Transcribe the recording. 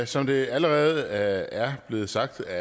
som det allerede er blevet sagt af